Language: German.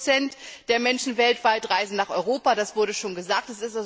40 der Menschen weltweit reisen nach Europa, das wurde schon gesagt.